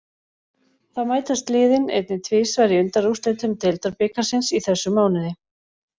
Þá mætast liðin einnig tvisvar í undanúrslitum deildarbikarsins í þessum mánuði.